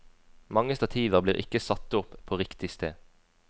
Mange stativer blir ikke satt opp på riktig sted.